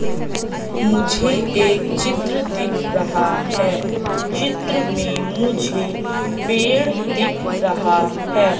मुझे एक चित्र दिख रहा है चित्र में मुझे पेड़ दिख रहा है।